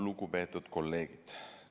Lugupeetud kolleegid!